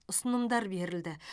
ұсынымдар берілді